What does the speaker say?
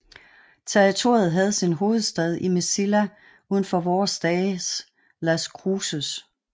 Territoriet havde sin hovedstad i Mesilla udenfor vore dages Las Cruses